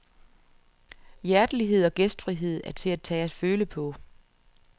Hjertelighed og gæstfrihed er til at tage og føle på.